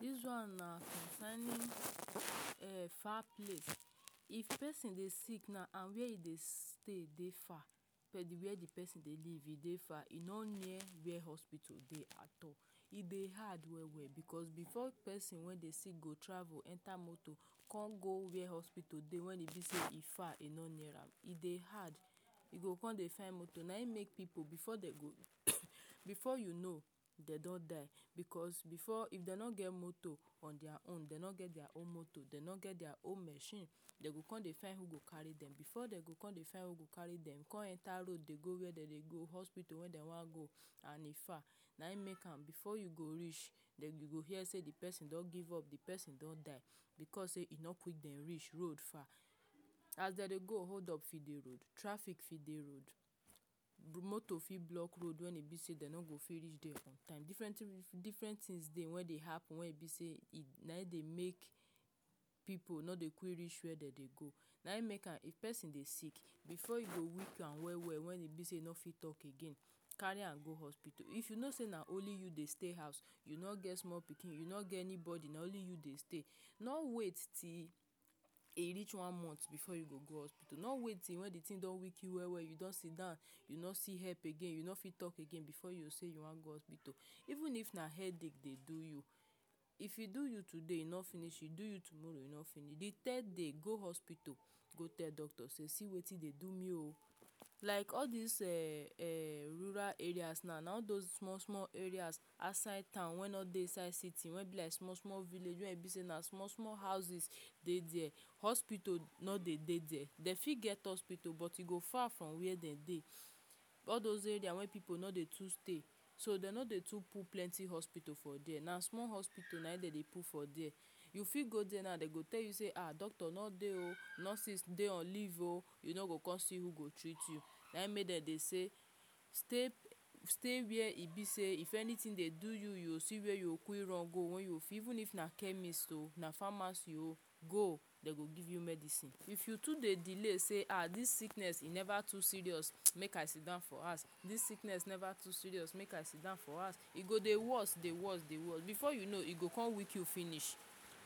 This one na cosigning um far place if person dey sick na where you dey stay dey far for de where de person dey leave dey far e no near wear hospital dey at all e dey hard well well because before person wey dey see go travel enter motor come go where hospital dey when e be sey e far no near am e dey hard e go come dey find motor na him make pipu before dem go before you know dem don die because before if dem no get motor for deir own dem no get deir own motor dem no get deir own machine dem go come dey find who go carry dem before dem go come dey find we go carry dem come enter road dey go where dem dey go hospital wey dem wan go and in far na him make am before you go reach dem you go hear sey de person don give up de person don die because sey e no quick dem reach road far as dem dey go hold up fit dey road traffic fit dey road motor fit block road when e be sey dem no go fit reach dere on different different things dey wey dey happen wen e be sey na him dey make pipu no dey quick reach where dem dey go na him make am if person dey sick before you go weak am well well when e be sey e no fit talk again carry am go hospital if you know sey na only you dey stay house you no get small pikin you no get anybody na only you dey stay no wait till a reach one month before you go, go hospitul nor wait till when de thing don weak you well well you don siddon you no see help again you no fit talk again before you sey you wan go hospital even if na head ick dey do you if you do you today e no finish you do you tomorrow you no finish de ted day go hospital go tell doctor sey see wetin dey do me o like all dese um rural areas now na all those small small areas outside town wen no dey inside city wen be like small small village wey e be sey na small small houses dey dere hospital no dey dey dere fit get hospital but e go far from where dem dey all those areas wey pipu no dey too stay so dem no dey too put plenty hospital for dere na small hospital na im dem dey put for dere you fit go there now dem go tell you sey um doctor no dey oh nurses dey on leave oh e no go con see who go treat you na him make dem dey sey stay stay where e be sey if anything dey do you, you see where you go quic run go wen fi even na chemist oh na pharmacy oh go dey go give you medicine if you too dey delay sey um this sickness e never too serious make i siddon for house this sickness never too serious make i siddon for house e go dey worse dey worse before you know e go con weak you finish